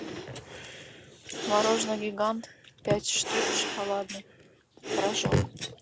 мороженое гигант пять штук шоколадный рожок